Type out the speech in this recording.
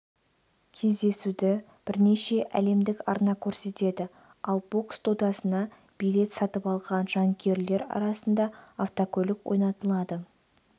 кездесуді бірнеше әлемдік арна көрсетеді ал бокс додасына билет сатып алған жанкүйерлер арасында автокөлік ойнатылады